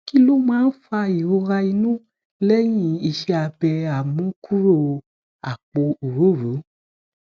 kí ló máa ń fa ìrora inu lẹyin ise abe amukuro apo orooro